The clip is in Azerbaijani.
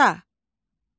Taxta.